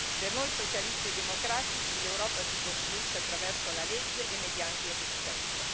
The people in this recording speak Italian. Per noi socialisti e democratici, l'Europa si costruisce attraverso la legge e mediante il rispetto.